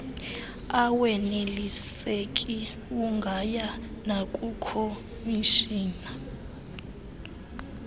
aweneliseki ungaya nakukhomishina